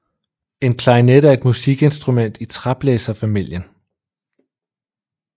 En klarinet er et musikinstrument i træblæserfamilien